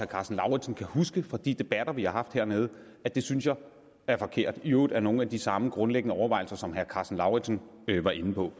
karsten lauritzen kan huske fra de debatter vi har haft hernede at det synes jeg er forkert i øvrigt af nogle af de samme grundlæggende overvejelser som herre karsten lauritzen var inde på